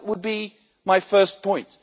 that would be my first point.